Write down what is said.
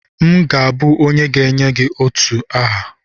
M ga-abụ onye ga-enye otu a aha